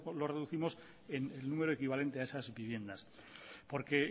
lo reducimos en el número equivalente a esas viviendas porque